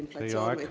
Inflatsioon võib …